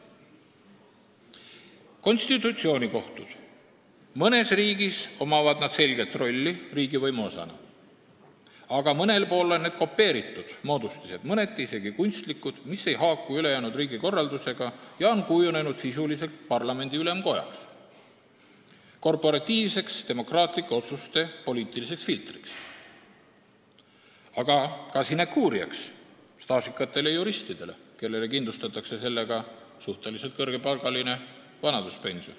Konstitutsioonikohtul on mõnes riigis selge roll riigivõimu osana, aga mõnes riigis on see kopeeritud, mõneti isegi kunstlik moodustis, mis ei haaku ülejäänud riigikorraldusega ja on kujunenud sisuliselt parlamendi ülemkojaks, korporatiivseks demokraatlike otsuste poliitiliseks filtriks, võimaldades ka sinekuuri staažikatele juristidele, kellele kindlustatakse sellega suhteliselt kõrge vanaduspension.